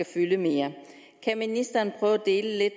fylde mere kan ministeren prøve at dele